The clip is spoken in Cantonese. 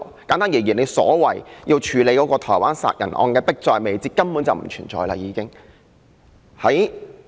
簡單而言，政府說迫在眉睫，要處理的台灣殺人案，這個因素根本已不存在。